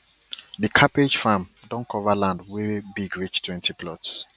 di cabbage farm don cover land wey big reach twenty plots